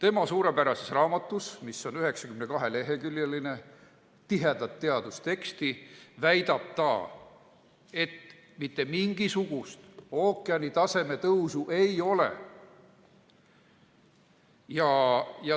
Oma suurepärases raamatus, mis on 92-leheküljeline tihe teadustekst, väidab ta, et mitte mingisugust ookeanitaseme tõusu ei ole.